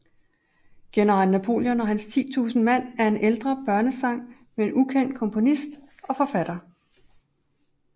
General Napoleon og hans titusind mand er en ældre børnesang med ukendt komponist og forfatter